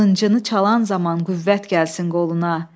Qılıncını çalan zaman qüvvət gəlsin qoluna.